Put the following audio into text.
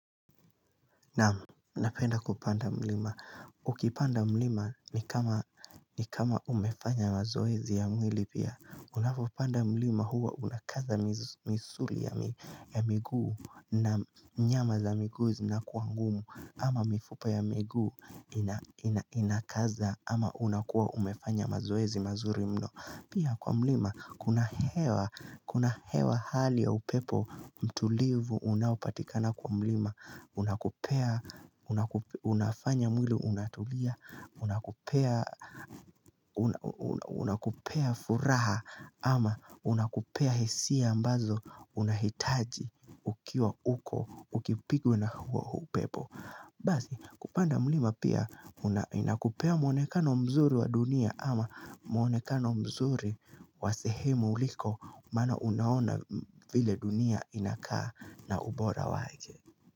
Namu, napenda kupanda mlima. Ukipanda mlima ni kama umefanya mazoezi ya mwili pia. Unapopanda mlima huwa unakaza misuri ya miguu na nyama za miguu zinakuwa ngumu ama mifupa ya miguu inakaza ama unakuwa umefanya mazoezi mazuri mno. Pia kwa mlima, kuna hewa hali ya upepo, mtulivu, unaopatikana kwa mlima, unakupea, unafanya mwili, unatulia, unakupea furaha, ama unakupea hisia ambazo, unahitaji, ukiwa uko, ukipigwe na upepo Basi kupanda mlima pia inakupea mwonekano mzuri wa dunia ama mwonekano mzuri wa sehemu uliko mana unaona vile dunia inakaa na ubora waeke.